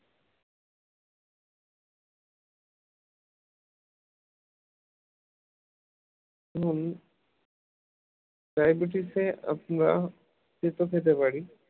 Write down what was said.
হম diabetes এ আপনারা তেতো খেতে পারি